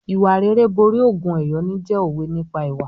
"Ìwà rere borí ògùn ẹ̀yọ́nú" jẹ́ òwe nípa ìwà.